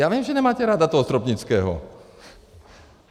Já vím, že nemáte ráda toho Stropnického.